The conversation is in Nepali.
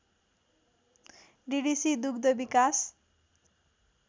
डिडिसी दुग्ध विकास